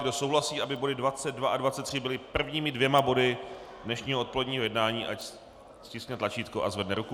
Kdo souhlasí, aby body 22 a 23 byly prvními dvěma body dnešního odpoledního jednání, ať stiskne tlačítko a zvedne ruku.